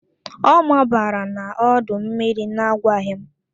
Ọ mabara n'ọdọ mmiri na-agwaghị m.